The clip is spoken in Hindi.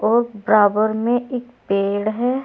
बराबर में एक पेड़ है।